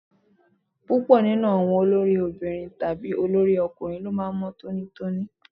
Púpọ̀ nínú àwọn olórí obìnrin tàbí olórí obìnrin ló máa ń mọ́ tónítóní.